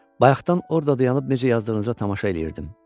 Bayaqdan orda dayanıb necə yazdığınıza tamaşa eləyirdim.